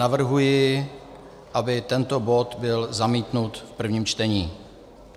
Navrhuji, aby tento bod byl zamítnut v prvním čtení.